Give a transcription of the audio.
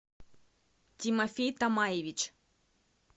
тимофей томаевич